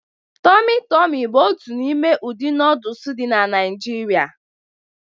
Tọmị Tọmị bụ otu n'ime ụdị nooduls dị na Naijiria